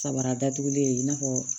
Kabara datugulen i n'a fɔ